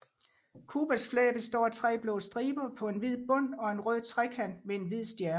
Cubas flag består af tre blå striber på en hvid bund og en rød trekant med en hvid stjerne